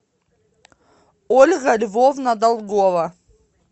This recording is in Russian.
ольга львовна долгова